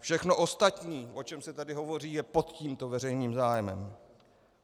Všechno ostatní, o čem se tady hovoří, je pod tímto veřejným zájmem.